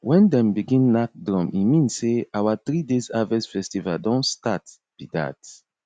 wen dem begin knack drum e mean sey our three days harvest festival don start be that